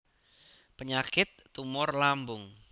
Penyakit tumor lambung